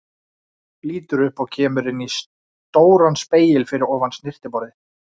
Lítur upp og kemur inn í stóran spegil fyrir ofan snyrtiborð.